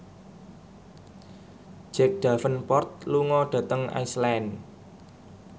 Jack Davenport lunga dhateng Iceland